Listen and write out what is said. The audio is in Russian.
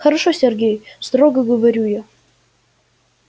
хорошо сергей строго говорю я